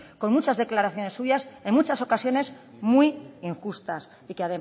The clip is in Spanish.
con muchas declaraciones suyas en muchas ocasiones muy injustas y que